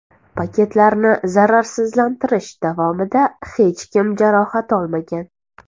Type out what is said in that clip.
Paketlarni zararsizlantirish davomida hech kim jarohat olmagan.